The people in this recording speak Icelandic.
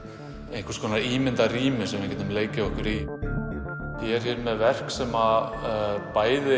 einhvers konar ímyndað rými sem við getum leikið okkur í ég er með verk sem bæði